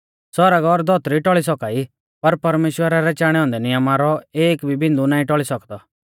सौरग और धौतरी टौल़ी सौका ई पर परमेश्‍वरा रै चाणै औन्दै नियम रौ एक भी बिन्दु नाईं टौल़ी सौकदौ